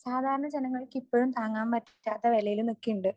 സാധാരണ ജനങ്ങൾക്ക് ഇപ്പോഴും താങ്ങാൻ പറ്റാത്ത വിലയില് നിക്കണ്ട്.